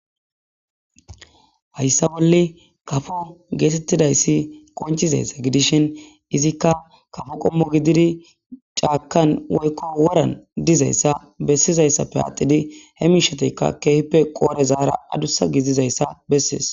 Hayisa boli kafo getetidayisi qonc,idayisa gidishin izika kafo qomo gididi c,akan woyiko woran dizayisa besizayisappe adhidi he mishatika kehippe qorera adusa gidizayisa besees